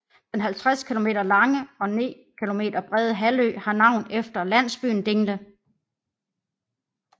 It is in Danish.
Den 50 km lange og 9 km brede halvø har navn efter landsbyen Dingle